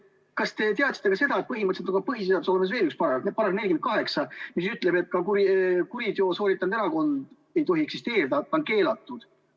Kas te teate ka seda, et põhiseaduses on olemas veel üks paragrahv, § 48, mis ütleb, et kuriteo sooritanud erakond ei tohi eksisteerida, see on keelatud.